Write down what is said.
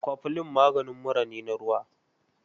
Kwaflin maganin mura na ruwa.